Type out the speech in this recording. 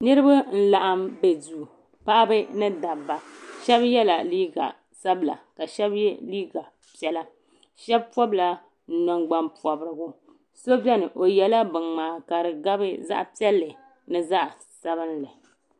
Niriba n laɣim be duu paɣaba ni dabba Sheba yela liiga sabla ka Sheba ye liiga ʒee Sheba pobla nangban pobrigu so beni o yela binŋmaa ka gabi zaɣa piɛlli ni zaɣa sabinli.